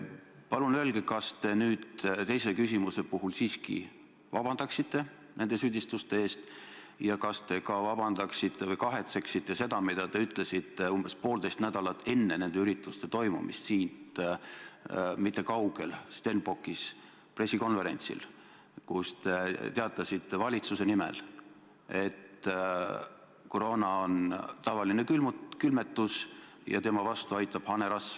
Palun öelge, kas te nüüd teise küsimuse puhul siiski vabandaksite nende süüdistuste eest ja kas te ka kahetsete seda, mida te ütlesite umbes poolteist nädalat enne nende ürituste toimumist siit mitte kaugel, Stenbockis pressikonverentsil, kus te teatasite valitsuse nimel, et koroona on tavaline külmetus ja selle vastu aitab hanerasv.